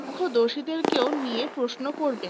প্রত্যক্ষদর্শীদের কেউ নিয়ে প্রশ্ন করবে